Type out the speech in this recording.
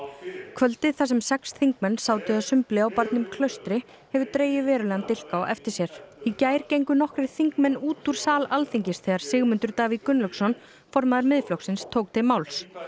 kvöldið þar sem sex þingmenn sátu að sumbli á barnum Klaustri hefur dregið verulegan dilk á eftir sér í gær gengu nokkrir þingmenn út úr sal Alþingis þegar Sigmundur Davíð Gunnlaugsson formaður Miðflokksins tók til máls